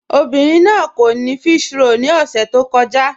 Obìnrin náà kò ní físhròl ni ọ̀ṣẹ̀ tó kọ̀ja